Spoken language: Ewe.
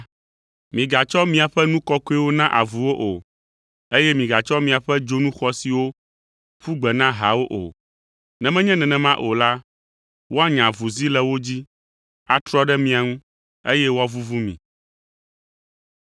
“Migatsɔ miaƒe nu kɔkɔewo na avuwo o, eye migatsɔ miaƒe dzonu xɔasiwo ƒu gbe na hawo o. Ne menye nenema o la, woanya avuzi le wo dzi, atrɔ ɖe mia ŋu, eye woavuvu mi.